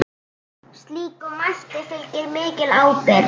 Slíkum mætti fylgir mikil ábyrgð.